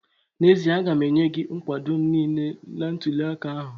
N'ezie, aga m enye gị nkwado m niile n'ntụli aka ahụ